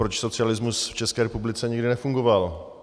Proč socialismus v České republice nikdy nefungoval?